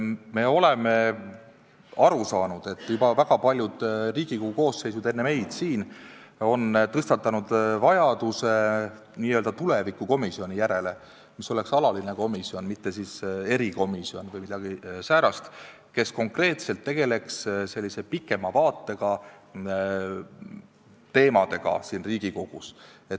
Me oleme aru saanud, et väga paljud Riigikogu koosseisud enne meid on tõstatanud vajaduse n-ö tulevikukomisjoni järele, mis oleks alatine komisjon, mitte erikomisjon või midagi säärast, kes konkreetselt tegeleks pikema vaatega teemadega siin Riigikogus.